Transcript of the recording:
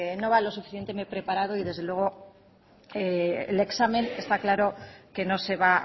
no va lo suficientemente preparado y desde luego el examen está claro que no se va